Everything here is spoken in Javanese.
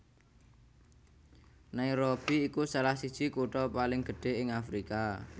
Nairobi iku salah siji kutha paling gedhé ing Afrika